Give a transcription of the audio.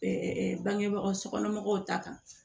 bangebaga sokɔnɔmɔgɔw ta kan